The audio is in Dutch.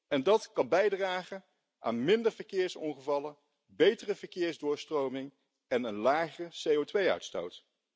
En dat kan bijdragen aan minder verkeersongevallen, betere verkeersdoorstroming en een lage CO2 uitstoot.